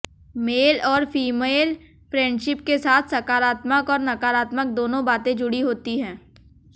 mail और female friendship के साथ साकारात्मक और नाकारात्मक दोनों बातें जुड़ी होती हैं